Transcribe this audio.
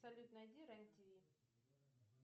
салют найди рен тв